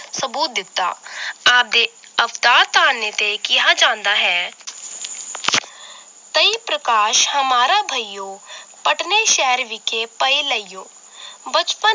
ਸਬੂਤ ਦਿੱਤਾ ਆਪ ਦੇ ਅਵਤਾ ਤਾਅਨੇ ਤੇ ਕਿਹਾ ਜਾਂਦਾ ਹੈ ਤਈ ਪ੍ਰਕਾਸ਼ ਹਮਾਰਾ ਭਇਯੋ ਪਟਨੇ ਸ਼ਹਿਰ ਵਿਖੇ ਪਏ ਲਇਓ ਬਚਪਨ